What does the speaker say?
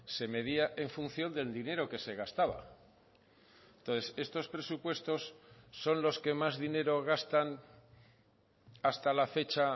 se medía en función del dinero que se gastaba entonces estos presupuestos son los que más dinero gastan hasta la fecha